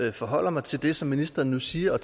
jeg forholder mig til det som ministeren nu siger og